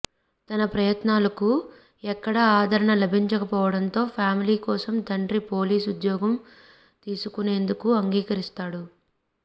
తన ప్రయత్నాలు కు ఎక్కడా ఆదరణ లభించకపోవడంతో ఫ్యామిలీ కోసం తండ్రి పోలీస్ ఉద్యోగం తీసుకునేందుకు అంగీకరిస్తాడు